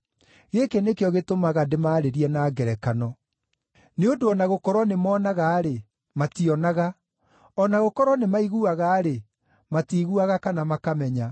Gĩkĩ nĩkĩo gĩtũmaga ndĩmaarĩrie na ngerekano: “Nĩ ũndũ o na gũkorwo nĩmoonaga-rĩ, mationaga; o na gũkorwo nĩmaiguaga-rĩ, matiiguaga kana makamenya.